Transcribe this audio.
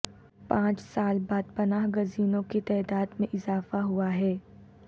پانچ سال بعد پناہ گزینوں کی تعداد میں اضافہ ہوا ہے